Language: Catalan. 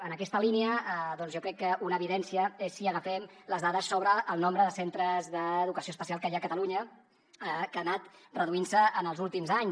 en aquesta línia doncs jo crec que una evidència és si agafem les dades sobre el nombre de centres d’educació especial que hi ha a catalunya que ha anat reduint se en els últims anys